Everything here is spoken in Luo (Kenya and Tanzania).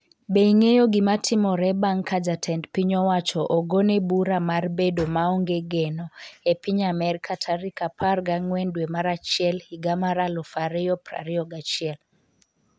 Be ing'eyo gimatimore bang' ka jatend piny owacho ogone bura mar bedo maonge geno e piny Amerka tarik 14 dwe mar achiel higa mar 2021?